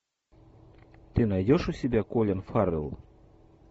ты найдешь у себя колин фаррелл